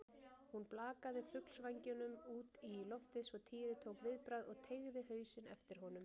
Hún blakaði fuglsvængnum út í loftið svo Týri tók viðbragð og teygði hausinn eftir honum.